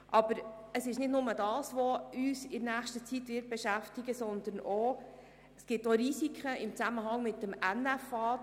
Aber nicht nur diese wird uns in nächster Zeit beschäftigen, sondern es gibt auch Risiken in Zusammenhang mit dem Nationalen Finanzausgleich (NFA).